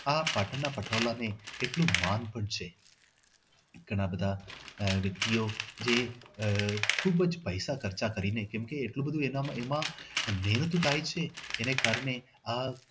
આ પાટણના પટોળા અને એટલું માન પણ છે. ઘણા બધા વ્યક્તિઓ જે આહ ખૂબ જ પૈસા ખર્ચી કરીને એટલું બધું બધું એમાં મહેનત થાય છે એને કારણે આ